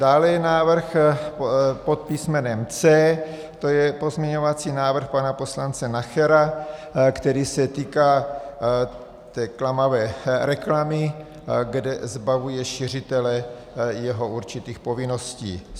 Dále je návrh pod písm. C, to je pozměňovací návrh pana poslance Nachera, který se týká té klamavé reklamy, kde zbavuje šiřitele jeho určitých povinností.